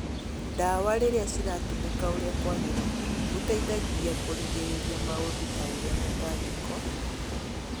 Ndawa rĩrĩa ciratũmĩka ũrĩa kũagĩrĩire, gũteithagia kũgirĩrĩria maũndũ ta ũrĩa mĩtangĩko